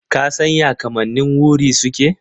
Ka san ya kamannin wuri suke?